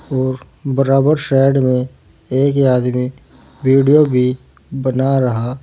और बराबर साइड में एक आदमी वीडियो भी बना रहा--